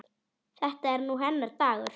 Þetta er nú hennar dagur.